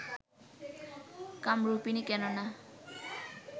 কামরূপিণী কেন না